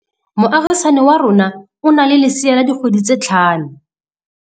Moagisane wa rona o na le lesea la dikgwedi tse tlhano.